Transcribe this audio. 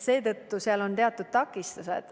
Seetõttu seal on teatud takistused.